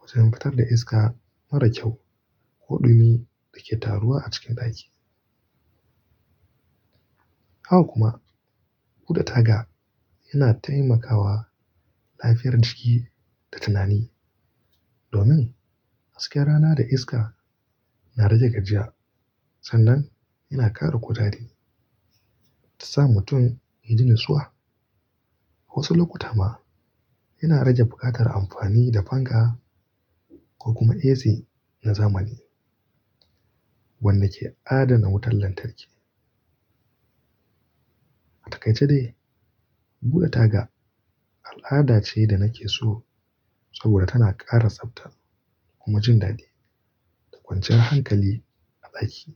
wajen fitar da iska mara kyau ko ɗumi da ke taruwa a cikin ɗaki. Haka kuma bude taga yana taimakawa lafiyar jiki da tunani domin hasken rana da iska na rage gajiya sannan yana ƙara kutare ta sa mutum ya ji natsuwa. Wasu lokuta ma yana rage buƙatar amfani da fanka ko kuma AC na zamani wanda ke adana wutar lantarki. A takaice dai, bude taga al'ada ce da nake so saboda tana ƙara tsabta kuma jin daɗi da kwanciyar hankali a ɗaki.